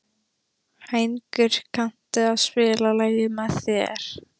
Hængur, kanntu að spila lagið „Með þér“?